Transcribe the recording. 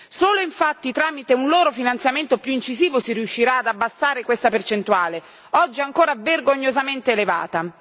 Solo infatti tramite un loro finanziamento più incisivo si riuscirà ad abbassare questa percentuale oggi ancora vergognosamente elevata.